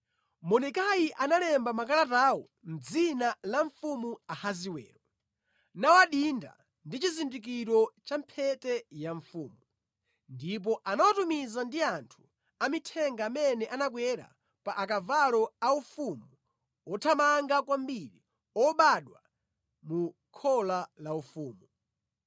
Mordekai analemba makalatawo mʼdzina la mfumu Ahasiwero, nawadinda ndi chizindikiro cha mphete ya mfumu. Ndipo anawatumiza ndi anthu amithenga amene anakwera pa akavalo a ufumu othamanga kwambiri obadwa mu khola la ufumu.